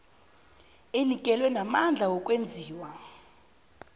enikelwe namandla wokwenziwa